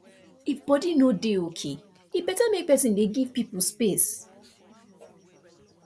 if body no dey okay e better make person dey give people space